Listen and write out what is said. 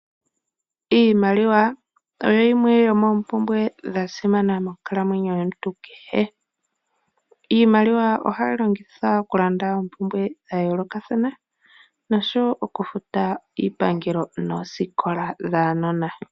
Iimaliwa oyo yimwe yomoopumbwe dha simana monkalamwenyo yomuntu kehe. Iimaliwa ohayi longithwa uku landa oompumbwe dha yoolokathana nosho woo okuta iipangelo noosikola dhaanona.